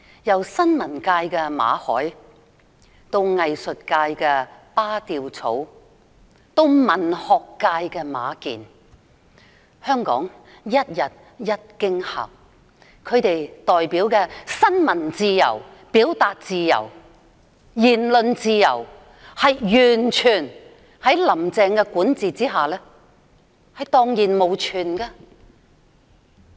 由新聞界的馬凱，藝術界的巴丟草，到文學界的馬建，香港是一天一驚嚇，其代表的新聞自由、表達自由、言論自由，在"林鄭"的管治下完全蕩然無存。